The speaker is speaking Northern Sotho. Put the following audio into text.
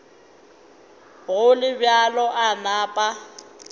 go le bjalo a napa